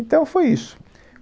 Então foi isso.